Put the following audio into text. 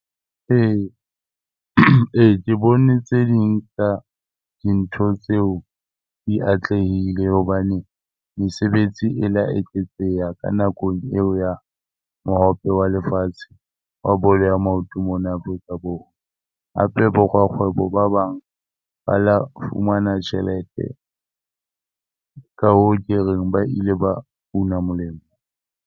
Ee, ee, ke bone tse ding tsa dintho tseo di atlehile hobane mesebetsi e le ya eketseha ka nako eo ya Mohope wa le Lefatshe wa Bolo ya Maoto mona Afrika Borwa. Hape, bo rakgwebo ba bang ba lo fumana tjhelete. Ka hoo, ke reng ba ile ba una molemo.